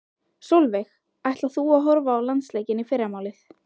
Sólveig: Ætlar þú að horfa á landsleikinn í fyrramálið?